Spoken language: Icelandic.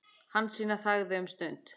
Hansína þagði um stund.